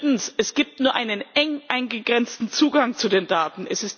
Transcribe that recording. Drittens Es gibt nur einen eng eingegrenzten Zugang zu den Daten.